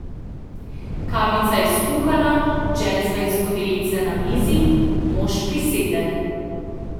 Kavica je skuhana, džezva in skodelice na mizi, mož prisede.